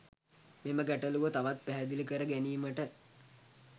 මෙම ගැටලුව තවත් පැහැදිලි කර ගැනීමට